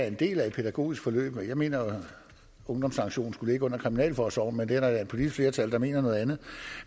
en del af et pædagogisk forløb jeg mener at ungdomssanktionen skulle ligge under kriminalforsorgen men her er der et politisk flertal der mener noget andet